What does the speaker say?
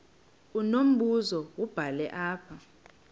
unombuzo wubhale apha